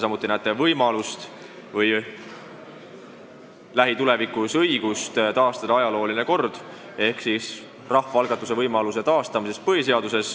Kas te näete võimalust taastada lähitulevikus ajalooline kord ehk näha põhiseaduses ette rahvaalgatuse võimalus?